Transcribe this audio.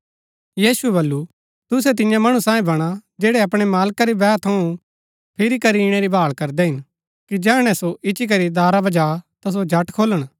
यीशुऐ बल्लू तुसै तियां मणु सांईं बणा जैड़ै अपणै मालका री बैह थऊँ फिरी करी ईणै री भाळ करदै हिन कि जैहणै सो इच्ची करी दारा बजा ता सो झट खोलण